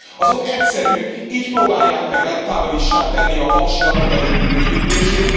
Az ok egyszerű így próbálják meg rentábilissá tenni a paksi atomerőmű bővítését.